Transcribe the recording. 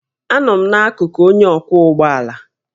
Anọ m n'akụkụ onye ọkwọ ụgbọ ala